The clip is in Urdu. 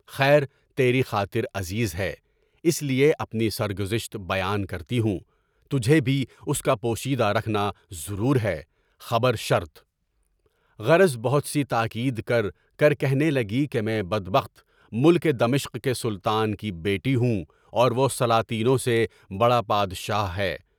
خیر تیری خاطر عزیز ہے، اس لیے اپنی سرگزشت بیان کرتی ہوں، تجھے بھی اُس کا پوشیدہ رکھنا ضرور ہے، خبر شرطہ غرض بہت سی تاکید کر کر کے بتاتی ہوں کہ میں بدبخت ملک دمشق کے سلطان کی بیٹی ہوں اور وہ سلاطینوں سے بڑا بادشاہ ہے۔